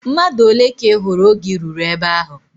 Mmadụ ole ka ị hụrụ oge I ruru ebe ahụ?